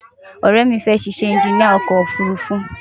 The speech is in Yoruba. Ore mi fe sesi enginia oko ofurufu